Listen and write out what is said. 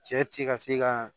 Cɛ ti ka se ka